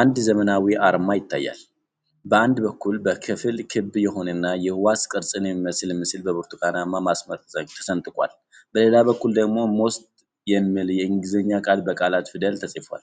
አንድ ዘመናዊ አርማ ይታያል፤ በአንድ በኩል ከፊሉ ክብ የሆነና የሕዋስ ቅርጽን የሚመስል ምስል በብርቱካናማ መስመር ተሰንጥቋል። በሌላ በኩል ደግሞ ሞስት የሚል የእንግሊዝኛ ቃል በላቲን ፊደል ተጽፏል።